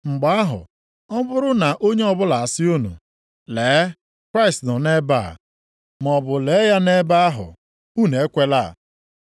Mgbe ahụ, ọ bụrụ na onye ọbụla asị unu, ‘Lee, Kraịst nọ nʼebe a,’ maọbụ, ‘Lee ya nʼebe ahụ,’ unu ekwela.